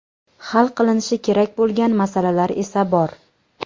Hal qilinishi kerak bo‘lgan masalalar esa bor.